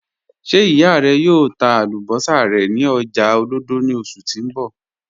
Ṣe iya rẹ yòò tà àlúbọ̀ṣà rẹ ni ọ̀jà Olodo ni oṣù ti n bọ?